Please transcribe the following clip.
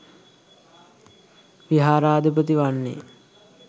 විහාරාධිපති වන්නේ